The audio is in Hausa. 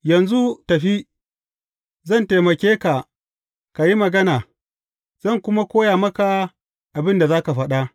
Yanzu tafi, zan taimake ka ka yi magana, zan kuma koya maka abin da za ka faɗa.